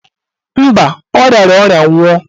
Mba, ọ riara ọrịa nwụọ.